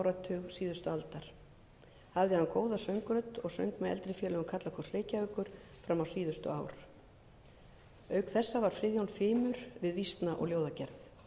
áratug síðustu aldar hafði hann góða söngrödd og söng með eldri félögum karlakórs reykjavíkur fram á síðustu ár auk þessa var friðjón fimur við vísna og ljóðagerð